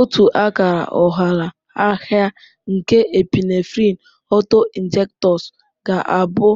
Otu akara ụghalaahịa nke Epinephrine auto-injectors ga-abụ